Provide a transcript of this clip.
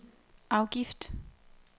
afgift